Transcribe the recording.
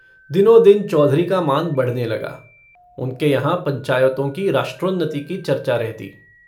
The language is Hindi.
दिनोंदिन चौधरी का मान बढ़ने लगा उनके यहाँ पंचायतों की राष्ट्रोन्नति की चर्चा रहती।